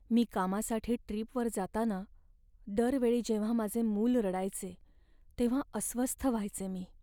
मी कामासाठी ट्रीपवर जाताना दर वेळी जेव्हा माझे मूल रडायचे, तेव्हा अस्वस्थ व्हायचे मी.